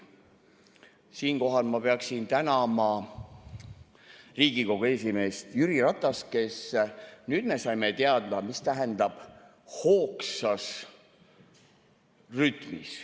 Siinkohal ma peaksin tänama Riigikogu esimeest Jüri Ratast, sest nüüd me saime teada, mis tähendab "hoogsas rütmis".